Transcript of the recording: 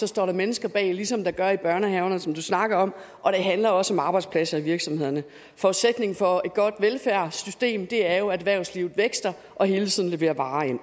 står der mennesker bag ligesom der gør i børnehaverne som du snakker om og det handler også om arbejdspladser i virksomhederne forudsætningen for et godt velfærdssystem er jo at erhvervslivet vækster og hele tiden leverer varer ind